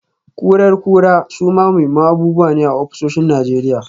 Kurar kura suma muhimman abubuwa ne a ofisoshin Najeriya.